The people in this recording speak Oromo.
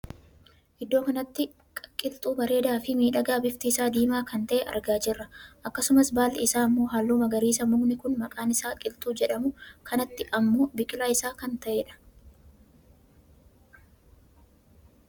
Iddoo kanatti qiltuu bareedaa Fi miidhagaa bifti isaa diimaa kan tahe argaa jira. akkasumas balli isaa ammoo halluu magariisa mukni kun maqaan isa qiltuu jedhamu kanatti ammoo ija biqilaa isa kan tahedha.